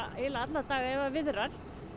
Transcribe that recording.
eiginlega alla daga ef að viðrar